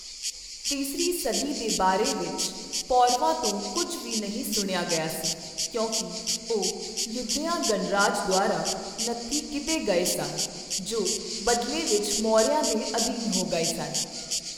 ਤੀਸਰੀ ਸਦੀ ਦੇ ਬਾਰੇ ਵਿੱਚ ਪੌਰਵਾਂ ਤੋਂ ਕੁੱਝ ਵੀ ਨਹੀਂ ਸੁਣਿਆ ਗਿਆ ਸੀ, ਕਿਉਂਕਿ ਉਹ ਯੁਧਿਆ ਗਣਰਾਜ ਦੁਆਰਾ ਨੱਥੀ ਕੀਤੇ ਗਏ ਸਨ, ਜੋ ਬਦਲੇ ਵਿੱਚ ਮੌਰਿਆਂ ਦੇ ਅਧੀਨ ਹੋ ਗਏ ਸਨ।